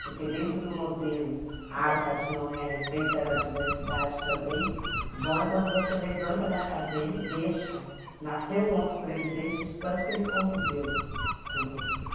Porque dentro do modelo Arca de Noé, respeitando a diversidade também, o bom é quando você levanta da cadeira e deixa nascer um outro presidente de tanto que ele conviveu com você.